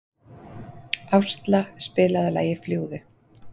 Ásla, spilaðu lagið „Fljúgðu“.